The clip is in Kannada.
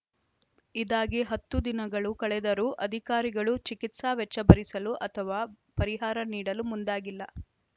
ಇದಾಗಿ ಹತ್ತು ದಿನಗಳು ಕಳೆದರೂ ಅಧಿಕಾರಿಗಳು ಚಿಕಿತ್ಸಾ ವೆಚ್ಚ ಭರಿಸಲು ಅಥವಾ ಪರಿಹಾರ ನೀಡಲು ಮುಂದಾಗಿಲ್ಲ